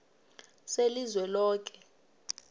selizweloke